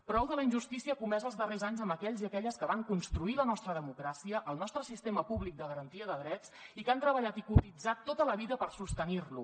prou de la injustícia comesa els darrers anys amb aquells i aquelles que van construir la nostra democràcia el nostre sistema públic de garantia de drets i que han treballat i cotitzat tota la vida per sostenir lo